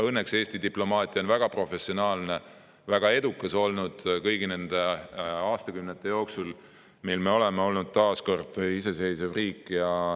Õnneks on Eesti diplomaatia olnud väga professionaalne ja edukas kõigi nende aastakümnete jooksul, kui me oleme olnud taas iseseisev riik.